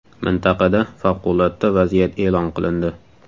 Mintaqada favqulodda vaziyat e’lon qilindi.